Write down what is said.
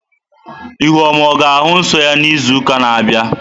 Ihuoma ọ ga-ahụ nsọ ya n'izu na-abịa?